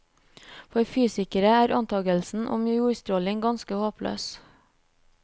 For fysikere er antagelsen om jordstråling ganske håpløs.